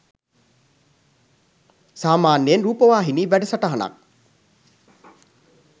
සාමාන්‍යයෙන් රූපවාහිනී වැඩසටහනක්